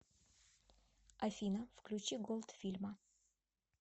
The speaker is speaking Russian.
афина включи голдфильма